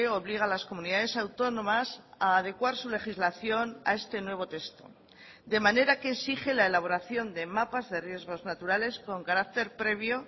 obliga a las comunidades autónomas a adecuar su legislación a este nuevo texto de manera que exige la elaboración de mapas de riesgos naturales con carácter previo